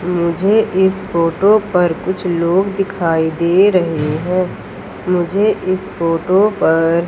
मुझे इस फोटो पर कुछ लोग दिखाई दे रहे हैं मुझे इस फोटो पर--